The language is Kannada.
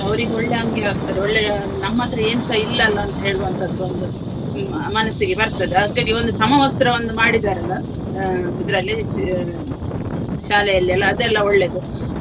ಅವರಿಗು ಒಳ್ಳೆ ಅಂಗಿ ಹಾಕ್ತಾರೆ ಒಳ್ಳೆಯ ನಮ್ಮತ್ರ ಏನುಸ ಇಲ್ಲಲ ಅಂತ ಹೇಳುವಂತದ್ದು ಒಂದು ಹ್ಮ್ ಮ~ ಮನಸ್ಸಿಗೆ ಬರ್ತದೆ ಹಾಗಾಗಿ ಒಂದು ಸಮವಸ್ತ್ರವೊಂದು ಮಾಡಿದ್ದಾರಲ್ಲ ಆ ಇದರಲ್ಲಿ ಶಾ~ ಶಾಲೆಯಲ್ಲಿ ಎಲ್ಲಾ ಅದೆಲ್ಲ ಒಳ್ಳೆಯದು.